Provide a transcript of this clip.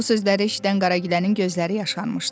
Bu sözləri eşidən Qaragilənin gözləri yaşarmışdı.